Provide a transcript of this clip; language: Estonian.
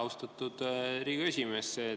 Austatud Riigikogu esimees!